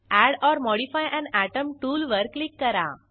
add or modify an atom टूलवर क्लिक करा